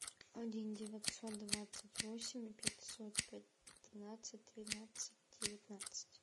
один девятьсот двадцать восемь пятьсот пятнадцать тринадцать девятнадцать